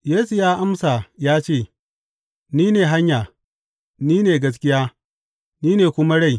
Yesu ya amsa ya ce, Ni ne hanya, ni ne gaskiya, ni ne kuma rai.